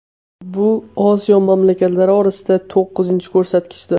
Bu Osiyo mamlakatlari orasida to‘qqizinchi ko‘rsatkichdir.